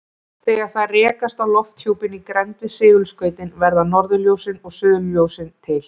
Þegar þær rekast á lofthjúpinn í grennd við segulskautin verða norðurljósin og suðurljósin til.